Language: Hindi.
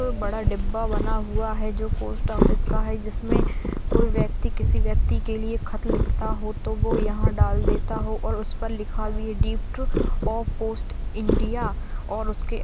बड़ा डिब्बा बना हुआ है जो पोस्ट ऑफिस का है जिसमे कोई व्यक्ति किसी व्यक्ति के लिए खत लिखता हो तो वो यहाँ डाल देता हो और उस पर लिखा भी है डिप्ट ऑफ़ पोस्ट इंडिया और उसके--